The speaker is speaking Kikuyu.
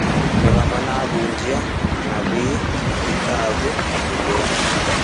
Nĩ hamwe na ahunjia, anabii, athikabu, mũbĩa,